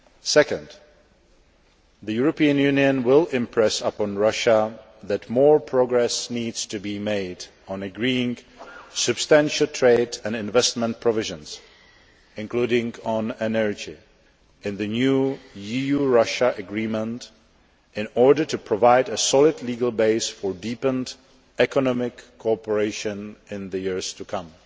Second the European Union will impress upon Russia that more progress needs to be made on agreeing substantial trade and investment provisions, including on energy, in the new EU Russia Agreement in order to provide a solid legal basis for deepened economic cooperation in the years to come.